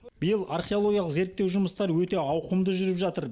биыл археологиялық зерттеу жұмыстары өте ауқымды жүріп жатыр